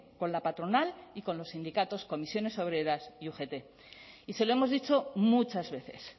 con la patronal y con los sindicatos comisiones obreras y ugt y se lo hemos dicho muchas veces